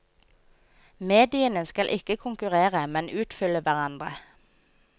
Mediene skal ikke konkurrere, men utfylle hverandre.